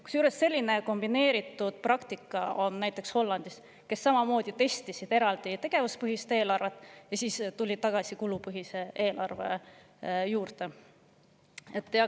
Kusjuures, selline kombineeritud praktika on näiteks Hollandis, kes samamoodi testisid eraldi tegevuspõhist eelarvet, aga siis tulid ikkagi tagasi kulupõhise eelarve juurde.